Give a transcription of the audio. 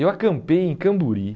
Eu acampei em Camburi.